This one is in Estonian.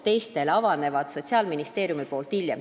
Teistele avab Sotsiaalministeerium taotlusvoorud hiljem.